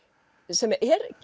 sem